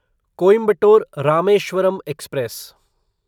Coimbatore Rameswaram express